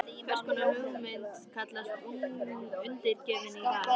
Hvers konar hugmynd kallast Undirgefnin í dag?